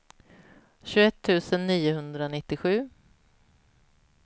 tjugoett tusen niohundranittiosju